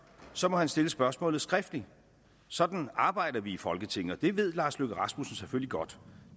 så må han stille spørgsmålet skriftligt sådan arbejder vi i folketinget og det ved lars løkke rasmussen selvfølgelig godt